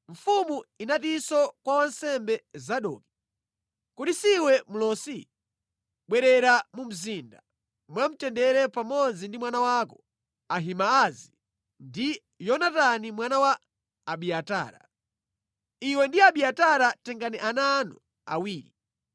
Mfumu inatinso kwa wansembe Zadoki, “Kodi siwe mlosi? Bwerera mu mzinda mwamtendere pamodzi ndi mwana wako Ahimaazi ndi Yonatani mwana wa Abiatara. Iwe ndi Abiatara tengani ana anu awiri.